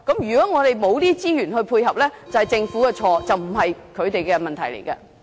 如果我們沒有資源配合，就是政府的錯，而不是他們的問題。